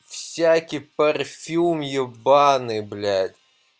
всякие парфюм ебанный блять